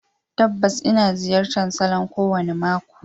Tabbas, ina ziyartar salon kowane mako.